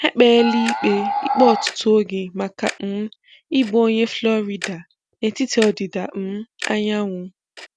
ekpeela ikpe ikpe ọtụtụ oge maka um ịbụ onye Florida na etiti ọdịda um anyanwụ.